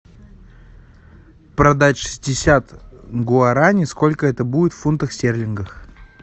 продать шестьдесят гуарани сколько это будет в фунтах стерлингов